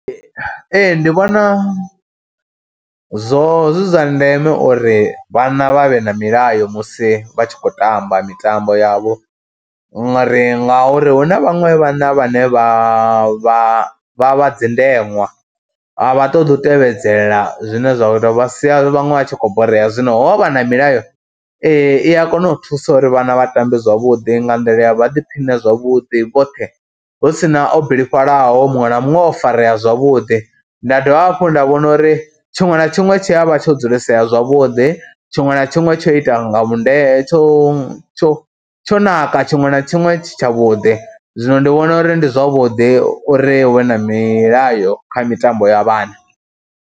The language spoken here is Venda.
Ee ndi vhona zwo zwi zwa ndeme uri vhana vha vhe na milayo musi vha tshi khou tamba mitambo yavho ngori ngauri hu na vhaṅwe vhana vhane vha vha vha vha dzi ndeṅwa, a vha ṱoḓi u tevhedzela zwine zwa vha sia vhaṅwe vha tshi khou borea. Zwino ho vha na milayo i ya kona u thusa uri vhana vha tambe zwavhuḓi nga nḓila ya vha ḓiphine zwavhuḓi vhoṱhe hu si na o bilifhalaho. Muṅwe na muṅwe o farea zwavhuḓi, nda dovha hafhu nda vhona uri tshiṅwe na tshiṅwe tshi a vha tsha dzulisea zwavhuḓi, tshiṅwe na tshiṅwe tsho ita nga vhundele, tsho tsho tsho naka tshiṅwe na tshiṅwe tshi tshavhuḓi, zwino ndi vhona uri ndi zwavhuḓi uri we na milayo kha mitambo ya vhana.